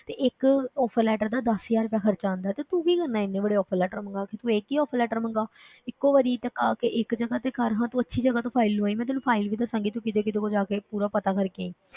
ਤੇ ਇੱਕ offer letter ਦਾ ਦਸ ਹਜ਼ਾਰ ਰੁਪਇਆ ਖ਼ਰਚਾ ਆਉਂਦਾ ਹੈ, ਤੇ ਤੂੰ ਕੀ ਕਰਨਾ ਹੈ ਇੰਨੇ ਵੱਡੇ offer letter ਮੰਗਵਾ ਕੇ, ਤੂੰ ਇੱਕ ਹੀ offer letter ਮੰਗਵਾ ਇੱਕੋ ਵਾਰੀ ਟਕਾ ਕੇ ਇੱਕ ਜਗ੍ਹਾ ਤੇ ਕਰ ਹਾਂ ਤੂੰ ਅੱਛੀ ਜਗ੍ਹਾ ਤੋਂ file ਲਵਾਈ, ਮੈਂ ਤੈਨੂੰ file ਵੀ ਦੱਸਾਂਗੀ ਤੂੰ ਕਿਹਦੇ ਕੋਲ ਜਾ ਕੇ ਪੂਰਾ ਪਤਾ ਕਰਕੇ ਆਈ।